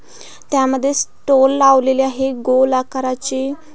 त्यामध्ये स्टॉल लावलेले आहे गोल आकाराचे.